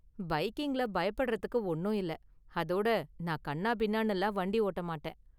பைக்கிங்ல பயப்படறதுக்கு ஒன்னும் இல்ல, அதோட நான் கன்னாபின்னான்னுலாம் வண்டி ஓட்ட மாட்டேன்.